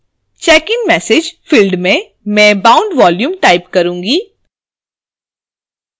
checkin message: field में मैं bound volume type करुँगी